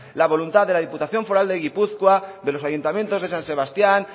la voluntad de la diputación foral de gipuzkoa de los ayuntamientos de san sebastián